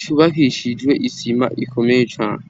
cubakishijwe isima ikomeye cane.